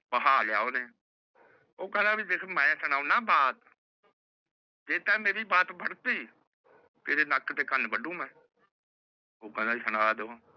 ਊਹ ਖੇੰਦਾ ਕੀ ਦੇਖ ਮੈ ਸੁਣਾਂਦਾ ਬਾਤ ਜੇ ਮੇਰੀ ਬਾਤ ਬਢਤੀ ਤੇਰੇ ਨਕ ਤੇ ਕਨ ਵਡੁ ਮੈ ਓਹ ਕਹਿੰਦਾ ਜੀ ਸੁਣਾ ਦੋ